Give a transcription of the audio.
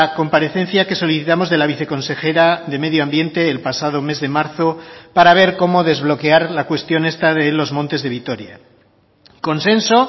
comparecencia que solicitamos de la viceconsejera de medio ambiente el pasado mes de marzo para ver cómo desbloquear la cuestión esta de los montes de vitoria consenso